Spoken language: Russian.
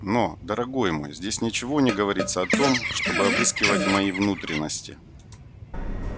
но дорогой мой здесь ничего не говорится о том чтобы обыскивать мои внутренности